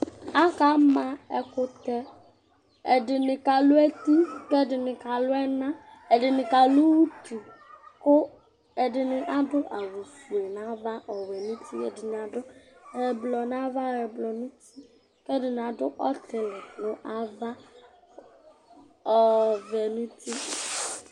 Akama ɛkʋtɛ Ɛdɩnɩ kalʋ eti kʋ ɛdɩnɩ kalʋ ɛna Ɛdɩnɩ kalʋ utu kʋ ɛdɩnɩ adʋ awʋfue nʋ ava ɔwɛ nʋ uti Ɛdɩnɩ adʋ ɛblɔ nʋ ava, ɛblɔ nʋ uti kʋ ɛdɩnɩ adʋ ɔtɩlɩ nʋ ava, ɔvɛ nʋ uti